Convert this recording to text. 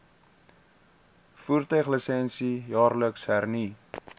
voertuiglisensie jaarliks hernu